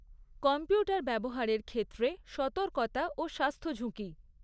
Computer ব্যবহারের ক্ষেত্রে সতর্কতা ও স্বাস্থ্যঝুঁকি।